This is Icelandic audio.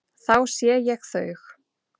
Þá sé ég þau.